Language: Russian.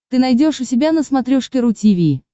ты найдешь у себя на смотрешке ру ти ви